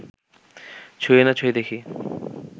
ছুঁয়ে না ছুঁয়ে দেখি